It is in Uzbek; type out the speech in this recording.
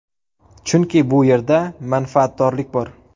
Chunki bu yerda manfaatdorlik bor.